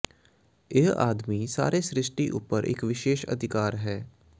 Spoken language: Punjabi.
ਇਹ ਆਦਮੀ ਸਾਰੇ ਸ੍ਰਿਸ਼ਟੀ ਉਪਰ ਇਕ ਵਿਸ਼ੇਸ਼ ਅਧਿਕਾਰ ਹੈ